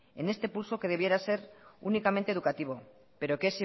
en este pulso que debiera ser únicamente educativo pero que